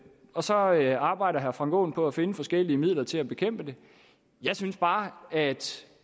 og så arbejder arbejder herre frank aaen på at finde forskellige midler til at bekæmpe det jeg synes bare at